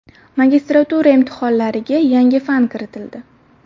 Magistratura imtihonlariga yangi fan kiritildi.